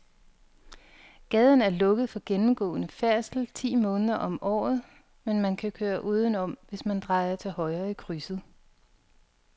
Gaden er lukket for gennemgående færdsel ti måneder om året, men man kan køre udenom, hvis man drejer til højre i krydset.